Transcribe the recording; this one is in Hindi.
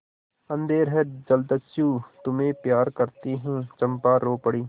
अंधेर है जलदस्यु तुम्हें प्यार करती हूँ चंपा रो पड़ी